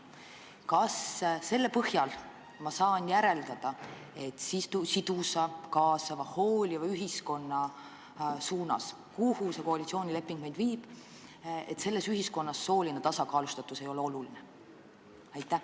Kas selle põhjal tuleb järeldada, et sidusas, kaasavas, hoolivas ühiskonnas, mille poole see koalitsioonileping meid viib, ei ole sooline tasakaalustatus oluline?